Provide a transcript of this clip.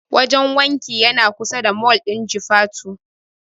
Wajen wankin yana kusa da mol ɗin Jufatu.